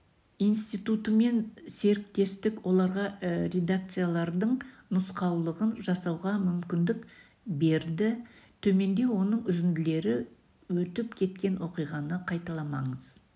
институтымен серіктестік оларға редакциялаудың нұсқаулығын жасауға мүмкіндік берді төменде оның үзінділері өтіп кеткен оқиғаны қайталамаңыз